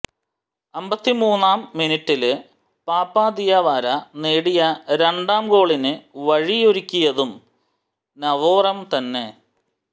അമ്പത്തിമൂന്നാം മിനിറ്റില് Papa Diawara നേടിയ രണ്ടാം ഗോളിന് വഴിയൊരുക്കിയതും നവോറം തന്നെ